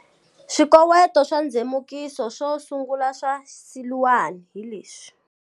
Swikoweto swa ndzemukiso swo sungula swa Siluan hi leswi.